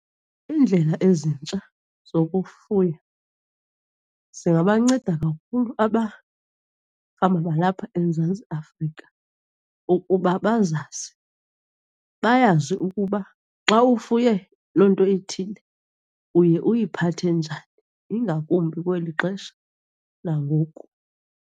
Iindlela ezintsha zokufuya zingabanceda kakhulu balapha eMzantsi Afrika ukuba bazazi, bayazi ukuba xa ufuye loo nto ithile uye uyiphathe njani, ingakumbi kweli xesha langoku.